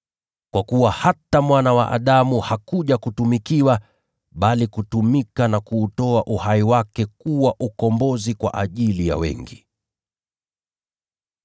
Kwa kuwa hata Mwana wa Adamu hakuja ili kutumikiwa, bali kutumika na kuutoa uhai wake uwe fidia kwa ajili ya wengi.”